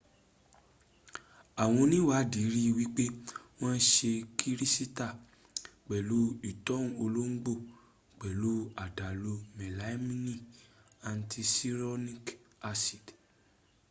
àwọn oníiwàdí ri wíp wọ́n se kírísítà pẹ̀lú ìtọo olóńgbò pẹ̀lú àdàlù melamine àticyanuric acid